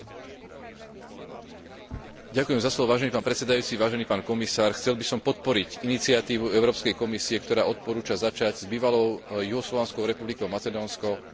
Chcel by som podporiť iniciatívu Európskej komisie, ktorá odporúča začať s Bývalou juhoslovanskou republikou Macedónsko oficiálne rokovania o pristúpení tejto krajiny do zväzku štátov Európskej únie.